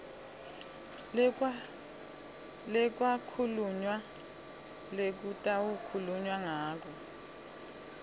lekwakhulunywa lekutawukhulunywa ngato